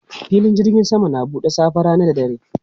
Filin jirgin sama na buɗe safe, rana da dare.